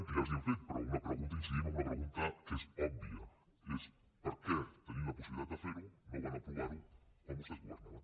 que ja els l’hem fet però una pregunta incidim en una pregunta que és òbvia és per què tenint la possibilitat de fer·ho no van apro·var·ho quan vostès governaven